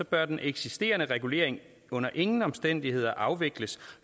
bør den eksisterende regulering under ingen omstændigheder afvikles